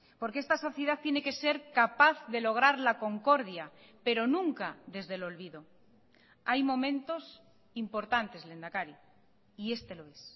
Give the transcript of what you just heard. porque esta sociedad tiene que ser capaz de lograr la concordia pero nunca desde el olvido hay momentos importantes lehendakari y este lo es